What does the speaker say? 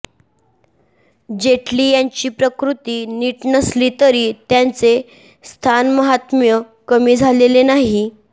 जेटली यांची प्रकृती नीट नसली तरी त्यांचे स्थानमहात्म्य कमी झालेले नाही